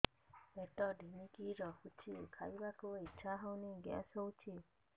ପେଟ ଢିମିକି ରହୁଛି ଖାଇବାକୁ ଇଛା ହଉନି ଗ୍ୟାସ ହଉଚି